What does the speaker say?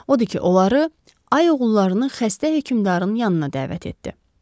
Odur ki, onları ay oğullarını xəstə hökümdarın yanına dəvət etdi.